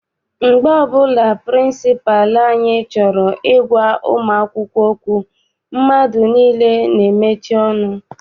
Mgbe ọbụla pịrịnsịpalụ anyị chọrọ I gwa ụmụ akwụkwọ okwu, mmadụ niile n'emechi ọnụ.